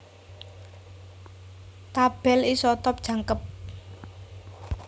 Tabèl isotop jangkep